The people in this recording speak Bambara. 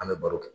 An bɛ baro